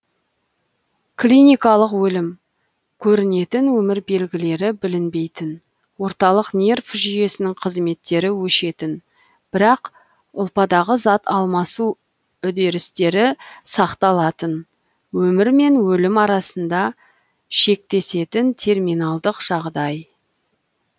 клиникалық өлім көрінетін өмір белгілері білінбейтін орталық нерв жүйесінің қызметтері өшетін бірақ ұлпадағы зат алмасу үдерістері сақталатын өмір мен өлім арасында шектесетін терминалдық жағдай